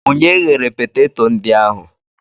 Onye ghere peteto ndị ahụ?